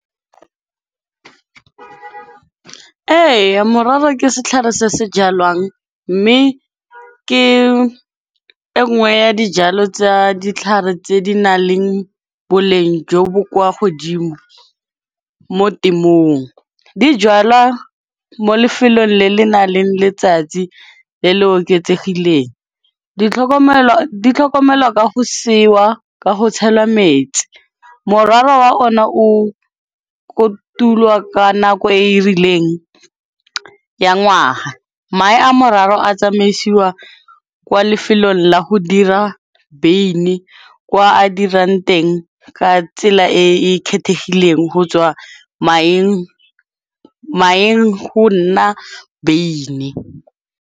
Ee morara ke setlhare se se jalwang, mme ke e ngwe ya dijalo tsa ditlhare tse di na leng boleng jo bo kwa godimo mo temong. Di jalwa mo lefelong le le nang le letsatsi le le oketsegileng, ditlhokomelwa ka go ka ho tshelwa metsi. Morara wa ona o kotulwa ka nako e e rileng ya ngwaga, mae a mararo a tsamaisiwa kwa lefelong la go dira beine kwa a dirang teng ka tsela e e kgethegileng go tswa maheng go nna beine.